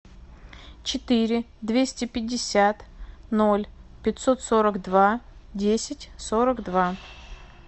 четыре двести пятьдесят ноль пятьсот сорок два десять сорок два